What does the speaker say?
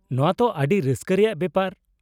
-ᱱᱚᱶᱟ ᱛᱚ ᱟᱹᱰᱤ ᱨᱟᱹᱥᱠᱟᱹ ᱨᱮᱭᱟᱜ ᱵᱮᱯᱟᱨ ᱾